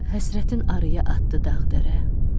Həsrətin arıya atdı dağ-dərə.